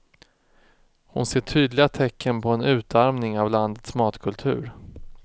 Hon ser tydliga tecken på en utarmning av landets matkultur.